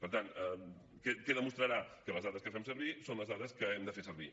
per tant què demostrarà que les dades que fem servir són les dades que hem de fer servir